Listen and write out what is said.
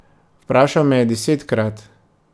Vprašal me je desetkrat.